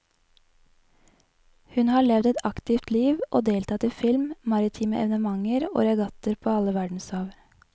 Hun har levd et aktivt liv og deltatt i film, maritime evenementer og regattaer på alle verdenshav.